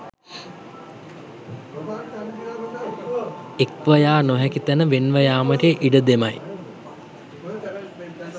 එක්ව යා නොහැකි තැන වෙන්ව යාමට ඉඩ දෙමැයි